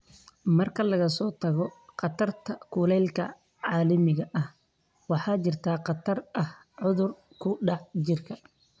Marka laga soo tago khatarta kulaylka caalamiga ah, waxaa jira khatar ah cudur ku dhaca jirka.